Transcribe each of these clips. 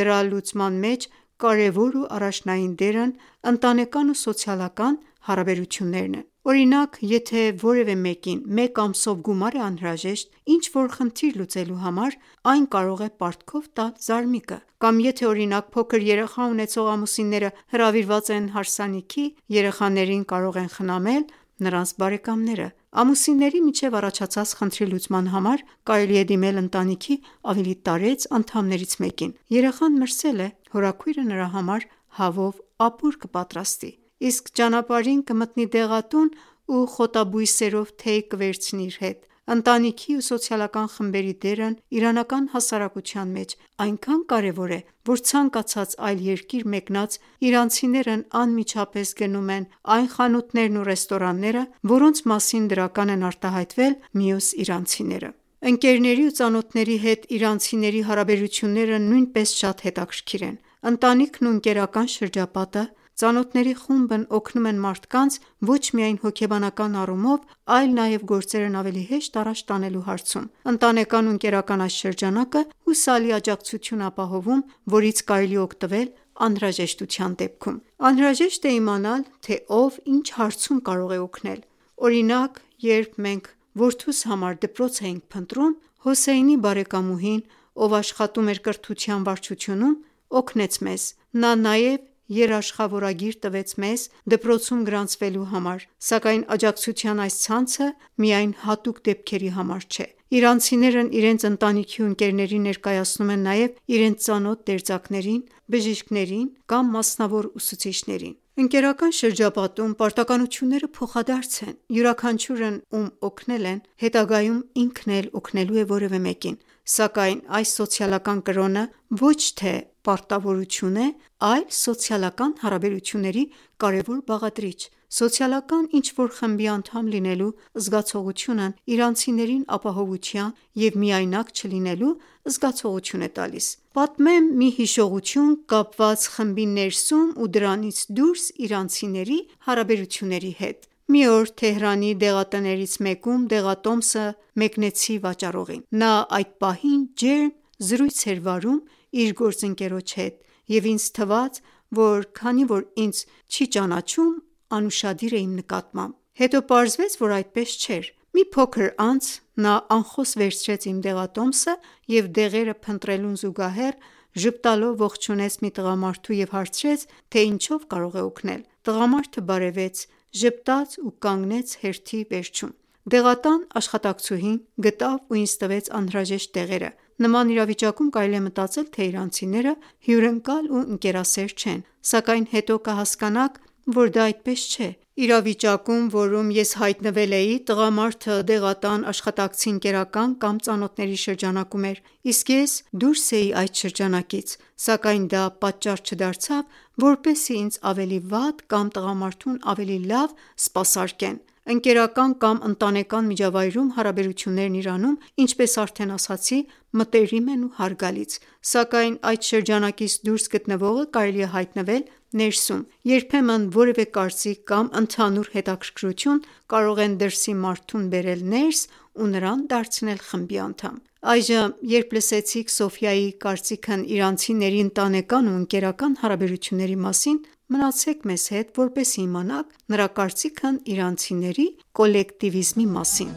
դրա լուծման մեջ կարևոր ու առաջնային դերն ընտանեկան ու սոցիալական հարաբերություններինն է։ Օրինակ, եթե որևէ մեկին մեկ ամսով գումար է անհրաժեշտ, ինչ որ խնդիր լուծելու համար, այն կարող է պարտքով տալ զարմիկը։ Կամ եթե օրինակ փոքր երեխա ունեցող ամուսինները հրավիրված են հարսանիքի, երեխաներին կարող են խնամել նրանց բարեկամները։ Ամուսինների միջև առաջացած խնդրի լուծման համար կարելի է դիմել ընտանիքի ավելի տարեց անդամներից մեկին։ Երեխան մրսե՞լ է։ Հորաքույրը նրա համար հավով ապուր կպատրաստի, իսկ ճանապարհին կմտնի դեղատուն ու խոտաբույսերով թեյ կվերցնի իր հետ։ Ընտանիքի ու սոցիալական խմբերի դերն իրանական հասարակության մեջ այնքան կարևոր է, որ ցանկացած այլ երկիր մեկնած իրանցիներն անմիջապես գնում են այն խանութներն ու ռեստորանները, որոնց մասին դրական են արտահայտվել մյուս իրանցիները։ Ընկերների ու ծանոթների հետ իրանցիների հարաբերությունները նույնպես շատ հետաքրքիր են։ Ընտանիքն ու ընկերական շրջապատը, ծանոթների խումբն օգնում են մարդկանց ոչ միայն հոգեբանական առումով, այլ նաև գործերն ավելի հեշտ առաջ տանելու հարցում։ Ընտանեկան ու ընկերական այս շրջանակը հուսալի աջակցություն է ապահովում, որից կարելի է օգտվել անհրաժեշտության դեպքում։ Անհրաժեշտ է իմանալ, թե ով ինչ հարցում կարող է օգնել։ Օրինակ, երբ մենք որդուս համար դպրոց էիքն փնտրում, Հոսեյնի բարեկամուհին, ով աշխատում էր կրթության վարչությունում, օգնեց մեզ։ Նա նաև երաշխավորագիր տվեց մեզ՝ դպրոցում գրանցվելու համար։ Սակայն աջակցության այս ցանցը միայն հատուկ դեպքերի համար չէ։ Իրանցիներն իրենց ընտանիքի ու ընկերներին ներկայացնում են նաև իրենց ծանոթ դերձակներին, բժիշկներին կամ մասնավոր ուսուցիչներին։ Ընկերական շրջապատում պարտականությունները փոխադարձ են։ Յուրաքանչյուրն ում օգնել են, հետագայում ինքն էլ օգնելու է որևէ մեկին։ Սակայն այս «սոցիալական կրոնը» ոչ թե պարտավորություն է, այլ սոցիալական հարաբերությունների կարևոր բաղադրիչ։ Սոցիալական ինչ որ խմբի անդամ լինելու զգացողությունն իրանցիներին ապահովության ու միայնակ չլինելու զգացողություն է տալիս։ Պատմեմ մի հիշողություն՝ կապված խմբի ներսում ու դրանից դուրս իրանցիների հարաբերությունների հետ։ Մի օր Թեհրանի դեղատներից մեկում դեղատոմսը մեկնեցի վաճառողին։ Նա այդ պահին ջերմ զրույց էր վարում իր գործընկերոջ հետ և ինձ թվաց, որ քանի որ ինձ չի ճանաչում, անուշադիր է իմ նկատմամբ։ Հետո պարզվեց, որ այդպես չէր։ Մի փոքր անց, նա անխոս վերցրեց իմ դեղատոմսը և դեղերը փնտրելուն զուգահեռ, ժպտալով ողջունեց մի տղամարդու և հարցրեց, թե ինչով կարող է օգնել։ Տղամարդը բարևեց, ժպտաց ու կանգնեց հերթի վերջում։ Դեղատան աշխատակցուհին գտավ ու ինձ տվեց անհրաժեշտ դեղերը։ Նման իրավիճակում կարելի է մտածել, թե իրանցիները հյուրընկալ ու ընկերասեր չեն։ Սակայն հետո կհասկանաք, որ դա այդպես չէ։ Իրավիճակում, որում ես հայտնվել էի, տղամարդը դեղատան աշխատակցի ընկերական կամ ծանոթների շրջանակում էր, իսկ ես դուրս էի այդ շրջանակից։ Սակայն դա պատճառ չդարձավ, որպեսզի ինձ ավելի վատ, կամ տղամարդուն ավելի լավ սպասարկեն։ Ընկերական կամ ընտանեկան միջավայրում հարաբերություններն Իրանում, ինչպես արդեն ասացի, մտերիմ են ու հարգալից։ Սակայն այդ շրջանակից դուրս գտնվողը կարող է հայտնվել ներսում։ Երբեմն որևէ կարծիք կամ ընդհանուր հետաքրքրություն, կարող են «դրսի» մարդուն բերել «ներս» ու նրան դարձնել խմբի անդամ։ Այժմ, երբ լսեցինք Սոֆիայի կարծքն իրանցիների ընտենական ու ընկերական հարաբերությունների մասին, մնացեք մեզ, որպեսզի իմանանք նրա կարծիքն իրանցիների կոլեկտիվիզմի մասին։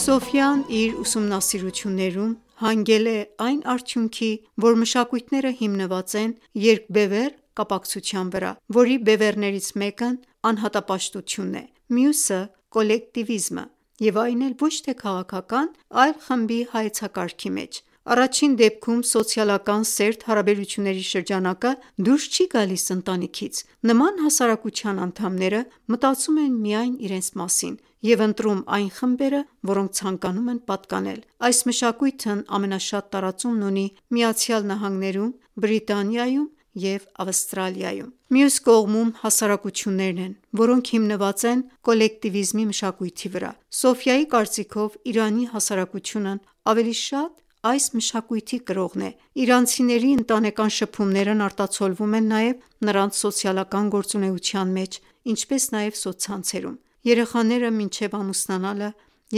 Սոֆիան իր ուսումնասիրություններում հանգել է այն արդյունքի, որ մշակույթները հիմնված են երկբևեռ կապակցության վրա, որի բևեռներից մեկն անհատապաշտությունն է, մյուսը՝ կոլեկտիվիզմը և այն էլ ոչ թե քաղաքական, այլ խմբի հայեցակարգի մեջ։ Առաջին դեպքում սոցիալական սերտ հարաբերությունների շրջանակը դուրս չի գալիս ընտանիքից։ Նման հասարակության անդամները մտածում են միայն իրենց մասին և ընտրում այն խմբերը, որոնց ցանկանում են պատկանել։ Այս մշակույթն ամենաշատ տարածումն ունի ԱՄՆ-ում, Բրիտանիայում և Ավստրալիայում։ Մյուս կողմում հասարակություններն են, որոնք հիմնված են կոլեկտիվիզմի մշակույթի վրա։ Սոֆիայի կարծիքով, Իրանի հասարակությունն ավելի շատ այս մշակույթի կրողն է։ Իրանցիների ընտանեկան շփումներն արտացոլվում են նաև նրանց սոցիալական գործունեության մեջ, ինչպես նաև սոցցանցերում։ Երեխաները մինչև ամուսնանալը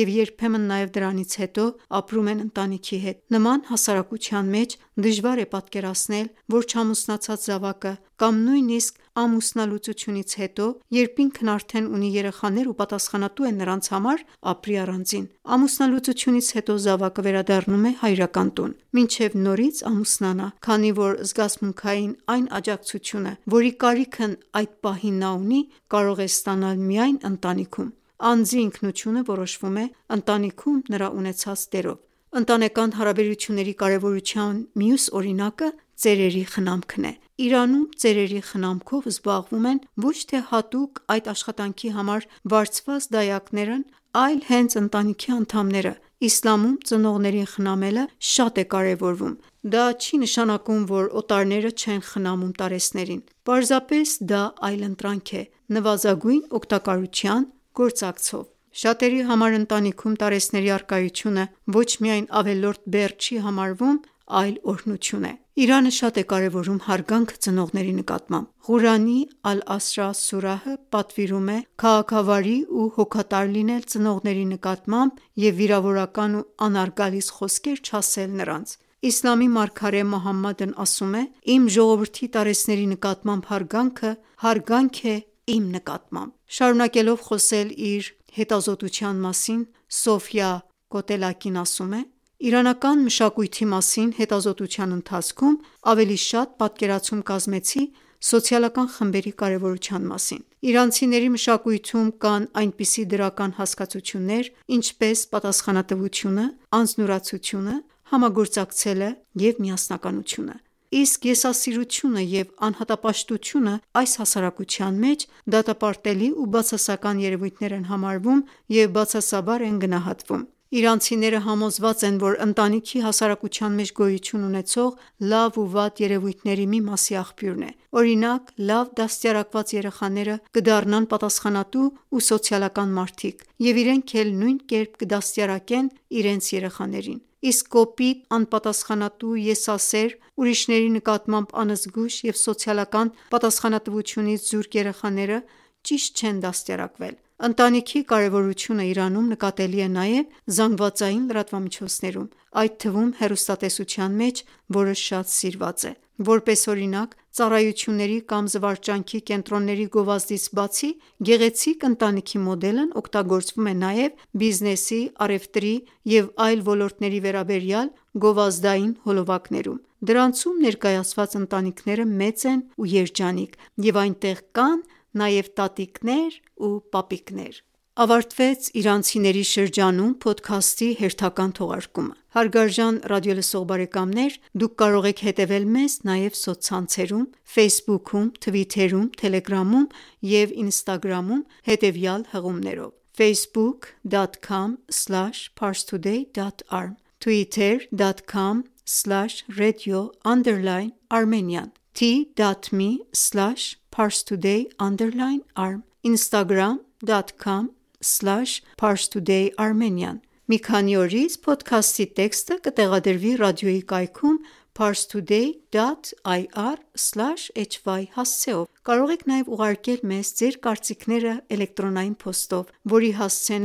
և երբեմն նաև դրանից հետո, ապրում են ընտանիքի հետ։ Նման հասարակության մեջ դժվար է պատկերացնել, որ չամուսնացած զավակը, կամ նույնիսկ ամուսնալուծությունից հետո, երբ ինքն արդեն ունի երեխաներ ու պատասխանատու է նրանց համար, ապրի առանձին։ Ամուսնալուծությունից հետո զավակը վերադառնում է հայրական տուն, մինչև նորից ամուսնանա, քանի որ զգացմունքային այն աջակցությունը, որի կարիքն այդ պահին նա ունի, կարող է ստանալ միայն ընտանիքում։ Անձի ինքնությունը որոշվում է ընտանիքում նրա ունեցած դերով։ Ընտանեկան հարաբերությունների կարևորության մյուս օրինակը ծերերի խնամքն է։ Իրանում ծերերի խնամքով զբաղվում են ոչ թե հատուկ այդ աշխատանքի համար վարձված դակայներն այլ հենց ընտանիքի անդամները։ Իսլամում ծնողներին խնամելը շատ է կարևորվում։ Դա չի նշանակում, որ օտարները չեն խնամում տարեցներին։ Պարզապես դա այլընտրանք է՝ նվազագույն օգտակարության գործակցով։ Շատերի համար ընտանիքում տարեցների առկայությունը ոչ միայն ավելորդ բեռ չի համարվում, այլ օրհնություն է։ Իսլամը շատ է կարևորում հարգանքը ծնողների նկատմամբ։ Ղուրանի «Ալ-Ասրա» սուրահը պատվիրում է քաղաքավարի ու հոգատար լինել ծնողների նկատմամբ և վիրավորական ու անհարգալից խոսքեր չասել նրանց։ Իսլամի մարգարե Մուհամմադն ասել է․ «Իմ ժողովրդի տարեցների նկատմամբ հարգանքը հարգանք է իմ նկատմամբ»: Շարունակելով խոսել իր հետազտության մասին, Սոֆյա Կոտլակին ասում է․ «Իրանական մշակույթի մասին հետազոտության ընթացքում ավելի շատ պատկերացում կազմեցի սոցիալական խմբերի կարևորության մասին։ Իրանցիների մշակույթում կայն այնպիսի դրական հասկացություններ, ինչպես՝ պատասխանատվությունը, անձնուրացությունը, համագործակցելը, միասնականությունը։ Իսկ եսասիրությունը և անհատապաշտությունն այս հասարակության մեջ դատապարտելի ու բասացական երևույթներ են համարվում և բացասաբար են գնահատվում: Իրանցիները համոզված են, որ ընտանիքը հասարակության մեջ գոյություն ունեցող լավ ու վատ երևույթների մի մասի աղբյուրն է։ Օրինակ՝ լավ դաստիարակված երեխաները կդառնան պատասխանատու ու սոցիալական մարդիկ և իրենք էլ նույն կերպ կդաստիարակեն իրենց երեխաներին։ Իսկ կոպիտ, անպատասխանատու, եսասեր, ուրիշների նկատմամբ անզգույշ և սոցիալական պատասխանատվությունից զուրկ երեխաները ճիշտ չեն դաստիարակվել: Ընտանիքի կարևորությունն Իրանում նկատելի է նաև ԶԼՄ-ներում, այդ թվում՝ հեռուստատեսության մեջ, որը շատ սիրված է։ Որպես օրինակ, ծառայությունների կամ զվարճանքի կենտրոնների գովազդից բացի, գեղեցիկ ընտանիքի մոդելն օգտագործվում է նաև բիզնեսի, առևտրի և այլ ոլորտների վերաբերյալ գովազդային հոլովակներում։ Դրանցում ներկայացված ընտանիքները մեծ են ու երջանիկ և այնտեղ կան նաև տատիկներ ու պապիկներ։ Ավարտվեց « Իրանցիների շրջանում» փոդքասթի հերթական թողարկումը։ Դուք կարող եք հետևել մեզ նաև սոցցանցերում Ֆեյսբուքում, թվիթերում, թելեգրամում և ինստագրամում, հետևյալ հղումներով՝ Մի քանի օրից փոդքասթի տեքստը կտեղադրվի ռադիոյի կայքում՝ parstoady.ir/hy հասցեով: Կարող եք նաև ուղարկել մեզ ձեր կարծիքները էլեկտրոնային փոստով, որի հասցեն